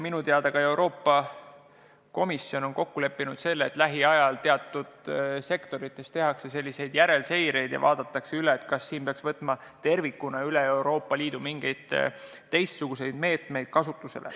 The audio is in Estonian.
Minu teada on Euroopa Komisjon kokku leppinud, et lähiajal tehakse teatud sektorites selliseid järelseireid ja mõeldakse, kas peaks võtma tervikuna kogu Euroopa Liidus mingeid teistsuguseid meetmeid kasutusele.